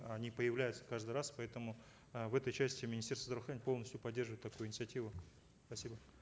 они появляются каждый раз поэтому э в этой части министерство здравоохранения полностью поддерживает такую инициативу спасибо